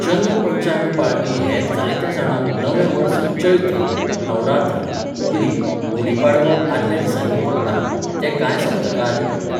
चंद्र पंचांग पाळपी हेर जायत्या जाणांक नवें वर्स चैत्र, नवरात्र, उगडी, गुडी पाडवो आदल्या दिसांनी पडटात, ते कांय सप्तकां आदीं पडटात.